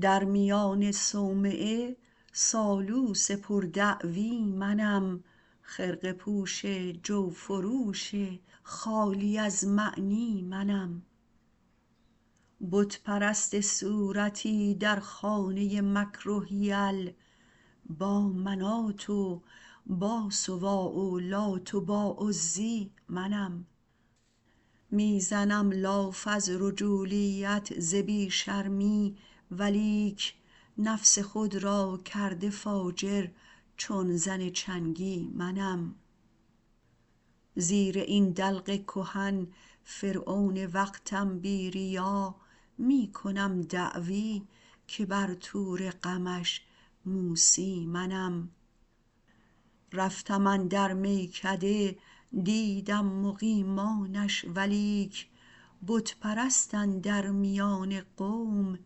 در میان صومعه سالوس پر دعوی منم خرقه پوش جوفروش خالی از معنی منم بت پرست صورتی در خانه مکر و حیل با منات و با سواع و لات و با عزی منم می زنم لاف از رجولیت ز بی شرمی ولیک نفس خود را کرده فاجر چون زن چنگی منم زیر این دلق کهن فرعون وقتم بی ریا می کنم دعوی که بر طور غمش موسی منم رفتم اندر میکده دیدم مقیمانش ولیک بت پرست اندر میان قوم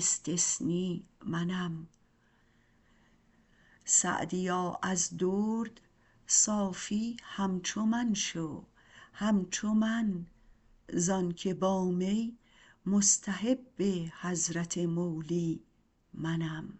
استثنی منم سعدیا از درد صافی همچو من شو همچو من زآن که با می مستحب حضرت مولی منم